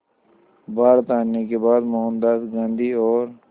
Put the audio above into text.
भारत आने के बाद मोहनदास गांधी और